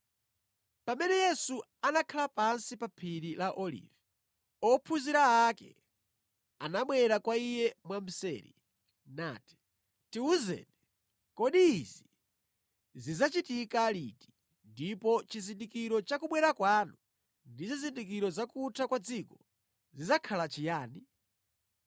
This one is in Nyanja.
Pamene Yesu anakhala pansi pa phiri la Olivi, ophunzira ake anabwera kwa Iye mwamseri nati, “Tiwuzeni, kodi izi zidzachitika liti, ndipo chizindikiro cha kubwera kwanu ndi zizindikiro za kutha kwa dziko zidzakhala chiyani?”